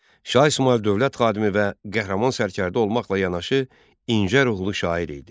Şah İsmayıl dövlət xadimi və qəhrəman sərkərdə olmaqla yanaşı, incə ruhlu şair idi.